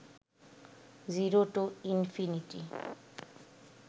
zero to infinity